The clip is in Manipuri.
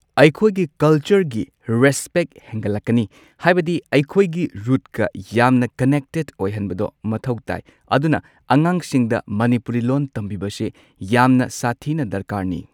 ꯑꯩꯈꯣꯏꯒꯤ ꯀꯜꯆꯔꯒꯤ ꯔꯦꯁꯄꯦꯛ ꯍꯦꯟꯒꯠꯂꯛꯀꯅꯤ ꯍꯥꯏꯕꯗꯤ ꯑꯩꯈꯣꯏꯒꯤ ꯔꯨꯠꯀ ꯌꯥꯝꯅ ꯀꯅꯦꯛꯇꯦꯗ ꯑꯣꯏꯍꯟꯕꯗꯣ ꯃꯊꯧ ꯇꯥꯏ ꯑꯗꯨꯅ ꯑꯉꯥꯡꯁꯤꯡꯗ ꯃꯅꯤꯄꯨꯔꯤ ꯂꯣꯟ ꯇꯝꯕꯤꯕꯁꯤ ꯌꯥꯝꯅ ꯁꯥꯊꯤꯅ ꯗꯔꯀꯥꯔꯅꯤ꯫